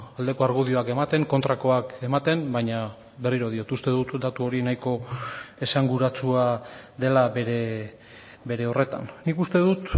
aldeko argudioak ematen kontrakoak ematen baina berriro diot uste dut datu hori nahiko esanguratsua dela bere horretan nik uste dut